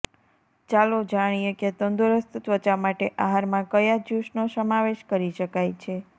ચાલો જાણીએ કે તંદુરસ્ત ત્વચા માટે આહારમાં કયા જ્યુસનો સમાવેશ કરી શકાય છે